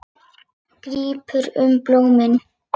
Grípur um blómin.